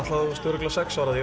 örugglega sex ára